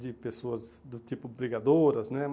De pessoas do tipo brigadoras, né?